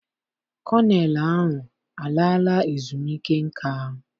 Kọnel ahụ alala ezumike nká.